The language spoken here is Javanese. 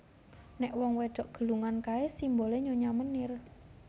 Nek wong wedok gelungan kae simbole Nyonya Menir